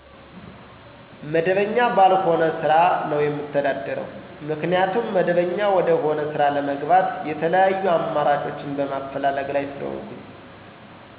መደበኛ ባልሆነ ስራ ነው የምተዳደርው። ምክንያቱም መደበኛ ወደሆነ ስራ ለመግባት የተለያዩ አማራጮችን በማፈላለግ ላይ ስለሆንኩኝ።